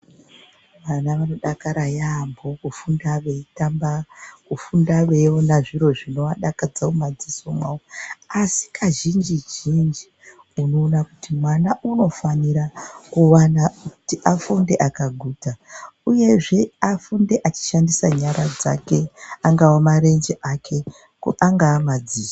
Ana anodakara yaamho kufunda veitamba kufunda veiona zviro zvinovadakadza mumaziso mavo, asi kazhinji-zhinji unoona kuti mwana unofanira kuvana kuti afunde akaguta, uyezve afunde achishandisa nyara dzake, angava marenje ake, angava madziso.